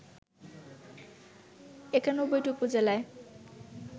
৯১টি উপজেলায়